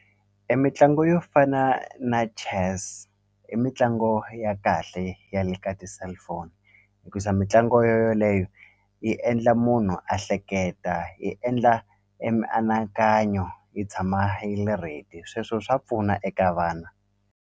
Emitlangu yo fana na chess i mitlangu ya kahle ya le ka ti-cellphone hikusa mitlangu yo yoleyo yi endla munhu a hleketa yi endla e mianakanyo yi tshama yi ready sweswo swa pfuna eka vana.